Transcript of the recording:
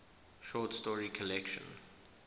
short story collection